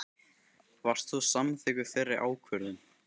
Varst þú samþykkur þeirri ákvörðun?